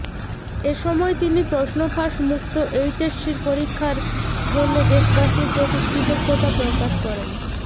এসময় তিনি প্রশ্নফাঁস মুক্ত এইচএসসি পরীক্ষার জন্যে দেশবাসীর প্রতি কৃতজ্ঞতা প্রকাশ করেন